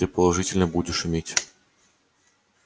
ты положительно будешь иметь